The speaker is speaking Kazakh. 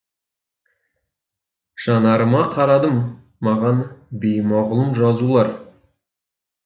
жанарыма қарадым маған беймағұлым жазулар